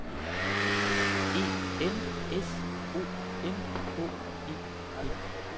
E N S O M H E D